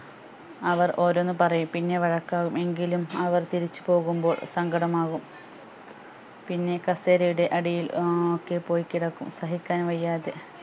അവർ ഓരോന്ന് പറയും പിന്നെ വഴക്കാകും എങ്കിലും അവർ തിരിച്ചുപോകുമ്പോൾ സങ്കടം ആകും പിന്നെ കസേരയുടെ അടിയിൽ ഏർ ഒക്കെ പോയി കിടക്കും സഹിക്കാൻ വയ്യാതെ